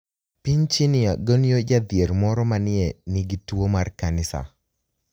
Piniy Chinia goniyo jadhier moro ma ni e niigi tuwo mar kaniSaa